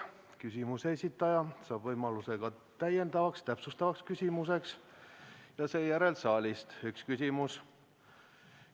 Küsimuse esitaja saab võimaluse täiendavaks, täpsustavaks küsimuseks ja seejärel võib saalist esitada ühe küsimuse.